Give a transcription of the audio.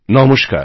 নমস্কার